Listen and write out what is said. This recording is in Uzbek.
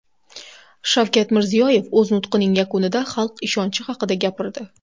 Shavkat Mirziyoyev o‘z nutqining yakunida xalq ishonchi haqida gapirdi.